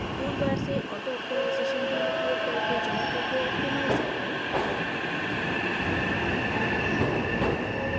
tool bar से autooptimization tool उपयोग करके geometry को optimize करें